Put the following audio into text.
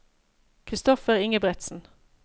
Christopher Ingebretsen